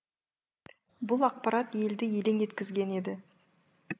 бұл ақпарат елді елең еткізген еді